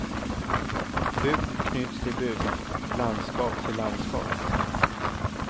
Bygd knyts till bygd, landskap till landskap.